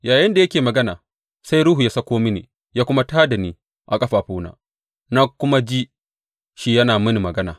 Yayinda yake magana, sai Ruhu ya sauko mini ya kuma tā da ni a ƙafafuna, na kuma ji shi yana mini magana.